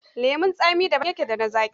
Lemon tsami daban yake da na zaƙi.